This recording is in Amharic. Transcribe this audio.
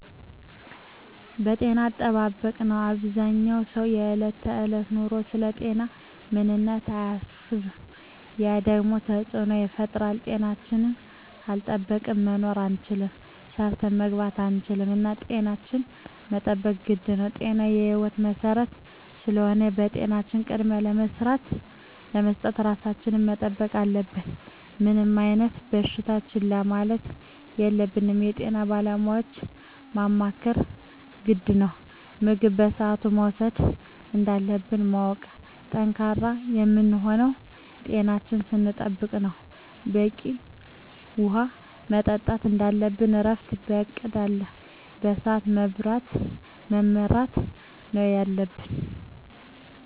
የጤና አጠባበቅ ነው አበዛኛው ሰው በዕለት ከዕለት ኑሮው ስለ ጤናው ምንም አያስብም ያ ደግሞ ተፅዕኖ ይፈጥራል። ጤናችን ካልጠበቅን መኖር አንችልም ሰርተን መግባት አንችልም እና ጤናችን መጠበቅ ግድ ነው ጤና የህይወት መሰረት ስለሆነ ለጤናችን ቅድሚያ በመስጠት ራሳችን መጠበቅ አለብን። ምንም አይነት በሽታ ችላ ማለት የለብንም የጤና ባለሙያዎችን ማማከር ግድ ነው። ምግብ በስአቱ መውሰድ እንዳለብን ማወቅ። ጠንካራ የምንሆነው ጤናችን ስንጠብቅ ነው በቂ ውሀ መጠጣት እንደለብን እረፍት በእቅድ እና በስዐት መመራት ነው የለብን